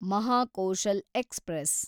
Mahakoshal express